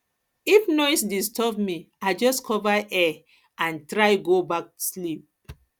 if noise disturb me i just cover ear and try go back sleep